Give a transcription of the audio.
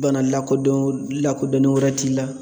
Bana lakodon lakodɔnnen wɛrɛ t'i la